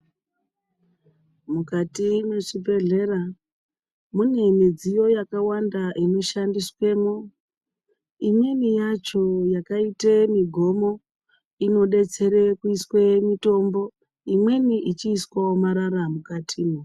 Mukati mwechibhehlera mune midziyo yakawanda inoshandiswemwo .Imweni yacho yacho yakaite migomo inodetsere kuiswe mitombo imweni ichiiswawo marara mukati.